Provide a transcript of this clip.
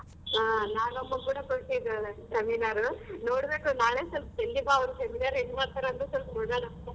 ಹಾ ನಾಗಮ್ಮ ಕೂಡ ಕೊಟ್ಟಿದ್ರು seminar ನೋಡ್ಬೇಕು ನಾಳೆ ಸ್ವಲ್ಪ ಜಲ್ದಿ ಬಾ ಅವ್ರ್ seminar ಹೆಂಗ್ ಮಾಡ್ತಾರಂತ ಸ್ವಲ್ಪ್ ನೋಡೋಣ.